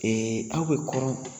aw bɛ kɔrɔn